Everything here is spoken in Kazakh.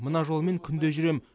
мына жолмен күнде жүрем